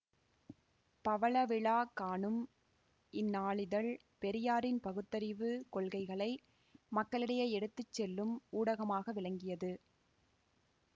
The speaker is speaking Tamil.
பவளவிழா காணும் இந்நாளிதழ் பெரியாரின் பகுத்தறிவு கொள்கைகளை மக்களிடையே எடுத்து செல்லும் ஊடகமாக விளங்கியது